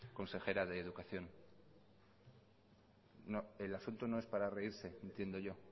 consejera de educación no el asunto no es para reírse entiendo yo